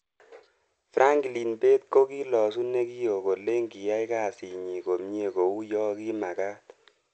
Franklin Bett ko kilosu Nekioo kolen kiai kazit nyi komiee kou yo ki magat.